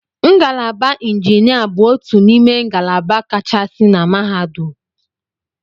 Ngalaba injinia bụ otu n'ime ngalaba kachasị na mahadum.